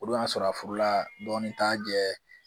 O don y'a sɔrɔ a furula dɔɔnin t'a jɛ ye